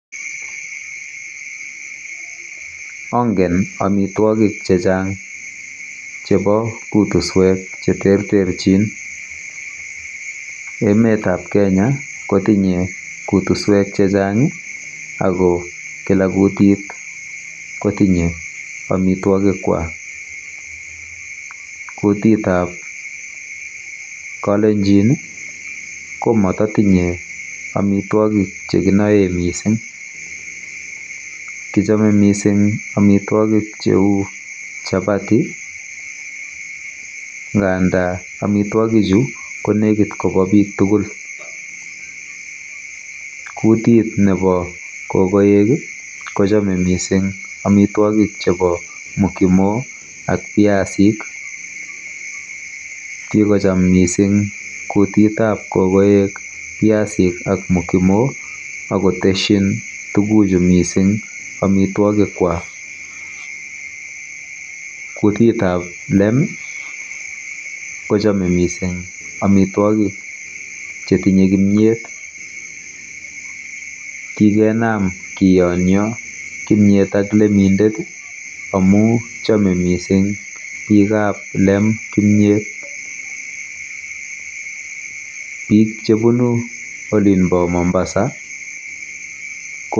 Angen amitwogik che chang' chepo kutuswek che terterchin. Emet ap Kenya ko tinye kutuswek che chang' ako kila kutit ko tinye amitwogikwak. Kutit ap Kalenjin ko mata tinye amitwogik che kinae missing'. Kichame missing' amitwogik cheu chapati, ngands amitwogichu ko nekit ko pa pik tugul. Kutit nepo kokoek ko chame missing' amitwogik chepo mokimo ak piasik. Kikocham missing' kutit ap kokoek piasik ak mokimo ak koteschin tuguchu missing' amitwogikwak. Kutit ap lem ko chame missing' amitwogik che tinye kimyet. Kikenam kiyanya kimiet ak lemindet amu chame missing' pik ap lem kimiet. Pik che punu olina pa Mombasa ...